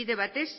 bide batez